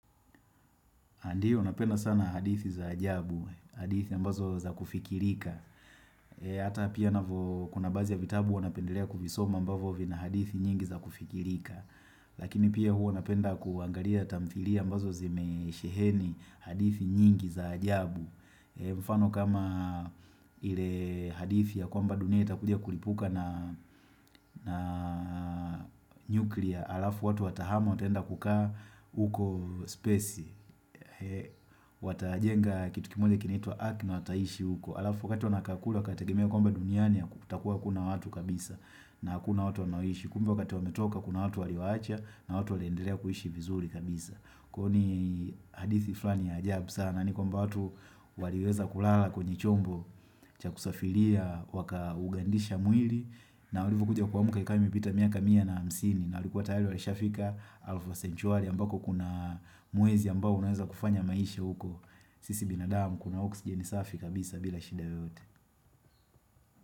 Ndio napenda sana hadithi za ajabu, hadithi ambazo za kufikirika. Ata pia kuna baadhi ya vitabu hua napendelea kuvisoma ambavyo vina hadithi nyingi za kufikirika. Lakini pia hua anapenda kuangalia tamthilia ambazo zimesheheni hadithi nyingi za ajabu. Mfano kama ile hadithi ya kwamba dunia itakudia kulipuka na nuclear Alafu watu watahama utenda kukaa uko spesi. Watajenga kitu kimoja kinaitwa Ark na wataishi huko alafu wakati wanakaa kule wakategimea kwamba duniani hakutakua kuna watu kabisa na hakuna watu wanaishi kumbe wakati wametoka kuna watu waliwaacha na watu waleendelea kuishi vizuri kabisa kwa hio ni hadithi fulani ya ajab sana ni kwamba watu waliweza kulala kwenye chombo cha kusafiria waka ugandisha mwili na walivyokuja kuamka ikawa imepita miaka mia na hamsini na walikuwa tayari walishafika elfu sentuali ambako kuna mwezi ambao unaweza kufanya maisha huko sisi binadamu Kuna oxijeni safi kabisa bila shida yoyote.